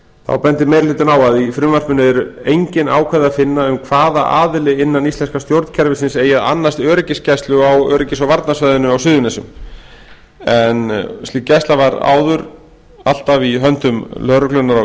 þá bendir meiri hlutinn á að í frumvarpinu er engin ákvæði að finna um hvaða aðili innan íslenska stjórnkerfisins eigi að annast öryggisgæslu á öryggis og varnarsvæðinu á suðurnesjum en hún var áður fyrr ávallt í höndum lögreglunnar á